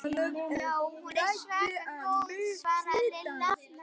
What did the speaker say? Já, hún er svaka góð svaraði Lilla.